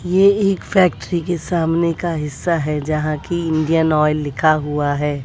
ये एक फैक्ट्री के सामने का हिस्सा है जहां की इंडियन ऑयल लिखा हुआ है।